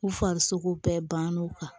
U farisogo bɛɛ banna u kan